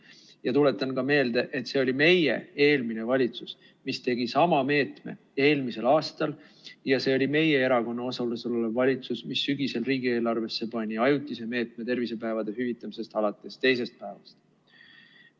Ja tuletan meelde, et see oli meie, eelmine valitsus, mis tegi sama meetme eelmisel aastal, ja see oli meie erakonna osalusega valitsus, mis sügisel riigieelarvesse pani ajutise meetme, tervisepäevade hüvitamise alates teisest päevast.